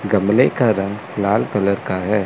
गमले का रंग लाल कलर का है।